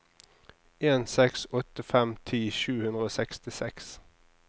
en seks åtte fem ti sju hundre og sekstiseks